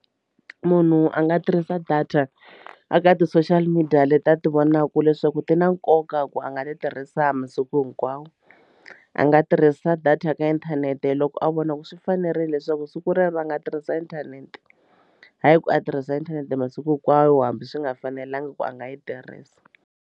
Munhu a nga tirhisa data a ka ti-social media leti a ti vonaka leswaku ti na nkoka ku a nga ti tirhisa masiku hinkwawo a nga tirhisa data ya ka inthanete loko a vona ku swi fanerile leswaku siku rero a nga tirhisa inthanete hayi ku a tirhisa inthanete masiku hinkwayo hambi swi nga fanelanga ku a nga yi tirhisa.